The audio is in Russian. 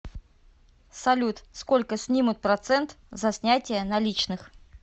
салют сколько снимут процент за снятие наличных